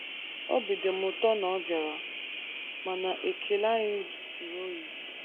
Obi dị m ụtọ na ọ bịara, mana ekele anyị jụtụrụ oyi.